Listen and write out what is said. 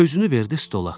Özünü verdi stola.